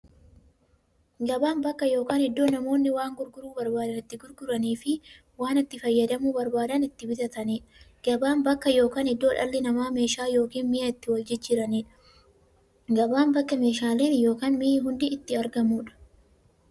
Gabaan bakka yookiin iddoo namoonni waan gurguruu barbaadan itti gurguraniifi waan itti fayyadamuu barbaadan itti bitataniidha. Gabaan bakka yookiin iddoo dhalli namaa meeshaa yookiin mi'a itti waljijjiiraniidha. Gabaan bakka meeshaaleen ykn mi'i hundi itti argamuudha.